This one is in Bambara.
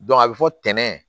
a bɛ fɔ tɛnɛn